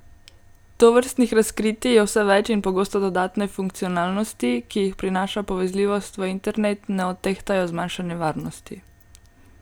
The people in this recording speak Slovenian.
Tovrstnih razkritij je vse več in pogosto dodatne funkcionalnosti, ki jih prinaša povezljivost v internet, ne odtehtajo zmanjšane varnosti.